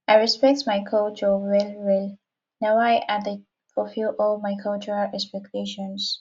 i respect my culture wellwell na why i dey fulfil all my cultural expectations